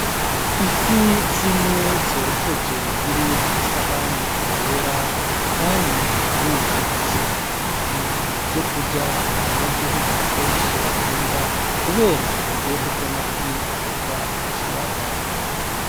Ifi zine zokeje ziri kw'isahani yera kandi zirumutse, nivyo kurya abanyagihugu benshi bakunda kubera uburyohe bw'amafi arobwa mukiyaga.